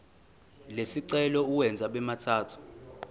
lesicelo uwenze abemathathu